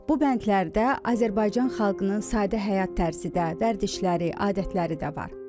Bu bəndlərdə Azərbaycan xalqının sadə həyat tərzi də, vərdişləri, adətləri də var.